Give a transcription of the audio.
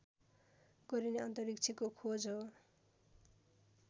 गरिने अन्तरिक्षको खोज हो